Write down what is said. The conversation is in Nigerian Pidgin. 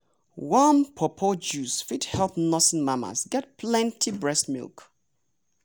warm pawpaw juice fit help nursing mamas get plenty breast milk.